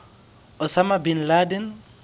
osama bin laden